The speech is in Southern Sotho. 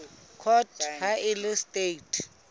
court ha e le traste